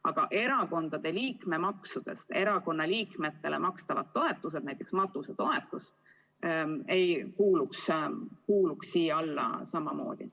Aga erakondade liikmemaksudest erakonna liikmetele makstavad toetused, näiteks matusetoetus, ei kuuluks samamoodi maksustamisele.